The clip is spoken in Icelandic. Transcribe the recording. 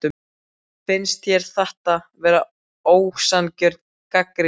Finnst þér þetta vera ósanngjörn gagnrýni?